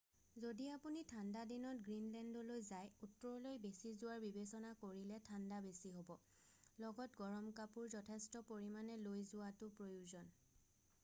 যদি আপুনি ঠাণ্ডা দিনত গ্ৰীণলেণ্ডলৈ যায় উত্তৰলৈ বেছি যোৱাৰ বিবেচনা কৰিলে ঠাণ্ডা বেছি হ'ব লগত গৰম কাপোৰ যথেষ্ট পৰিমানে লৈ যোৱাটো প্ৰয়োজন।